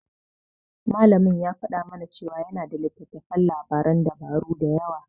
Malamin ya faɗa mana cewa yana da littattafan labaran dabaru da yawa.